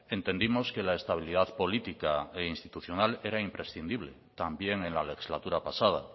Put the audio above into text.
entendimos que la estabilidad política e institucional era imprescindible también en la legislatura pasada